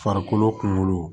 Farikolo kunkolo